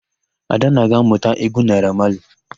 Adanna ga-ámụ̀ta égwú Naịra Mali.